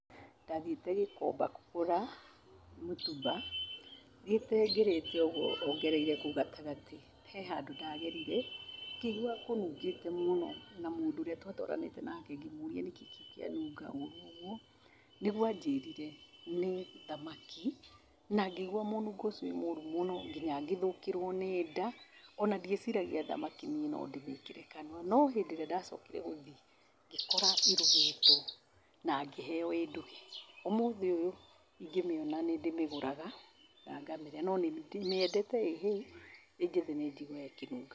Ndathiĩte Gĩkomba kũgũra mũtumba, thiĩte ngĩrĩte ũguo ongereire kũu gatagatĩ, he handũ ndagerire, ngĩigua kũnungĩte mũno, na mũndũ ũrĩa twatwaranĩte nake ngĩmũria nĩkĩ kĩu kĩanunga ũru ũguo, nĩguo anjĩrire nĩ thmaki, na ngĩigua mũnungo ũcio wĩmũru mũno, nginya ngĩthũkĩrwo nĩ nda, ona ndieciragia thamaki niĩ nondĩmĩkĩre kanua. No hĩndĩ ĩrĩa ndacokire gũthiĩ, ngĩkora irugĩtwo, na ngĩheo ĩnduge, ũmũthĩ ũyũ, ingĩmĩona nĩndĩmĩgũraga, na ngamĩrĩa, no ndĩmĩendete ĩhĩu, ĩnjĩthĩ nĩnjiguaga ĩkĩnunga.